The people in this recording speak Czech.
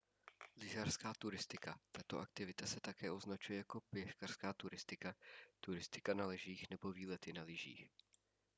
lyžařská turistika tato aktivita se také označuje jako běžkařská turistika turistika na lyžích nebo výlety na lyžích